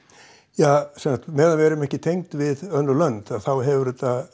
ja sem sagt meðan við erum ekki tengd við önnur lönd hefur þetta